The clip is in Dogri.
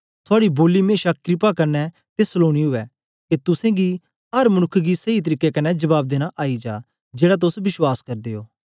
थूआडी बोली मेशा क्रपा कन्ने ते सलोनी उवै के तुसेंगी अर मनुक्ख गी सेई तरीके कन्ने जबाब देना आई जा जेड़ा तोस विश्वास करदे ओ